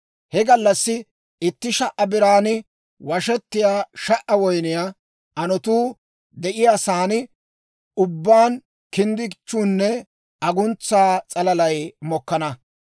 He gallassi itti sha"a biran washettiyaa sha"a woyniyaa anotuu de'iyaa saan ubbaan kinddichchuunne aguntsa s'alalay mokkana.